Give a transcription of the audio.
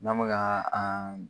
N'an be kaa aa